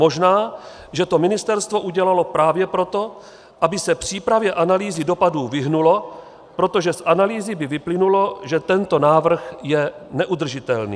Možná že to ministerstvo udělalo právě proto, aby se přípravě analýzy dopadů vyhnulo, protože z analýzy by vyplynulo, že tento návrh je neudržitelný.